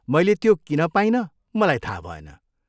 मैले त्यो किन पाइनँ मलाई थाहा भएन।